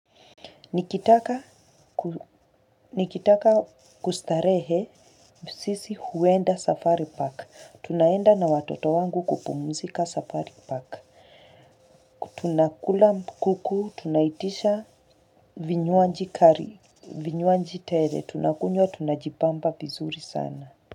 Nikitaka kustarehe msisi huenda safari park. Tunaenda na watoto wangu kupumuzika safari park. Tunakula mkuku, tunaitisha vinyoanji kari, vinyoanji tele, tunakunyo, tunajibamba vizuri sana.